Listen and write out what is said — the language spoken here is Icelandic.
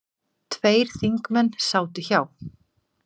Tveir þingmenn sátu hjá.